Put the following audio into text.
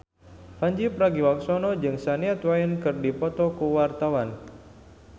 Pandji Pragiwaksono jeung Shania Twain keur dipoto ku wartawan